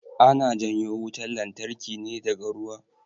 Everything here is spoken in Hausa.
Ana janyo wutan lantarki ne daga ruwa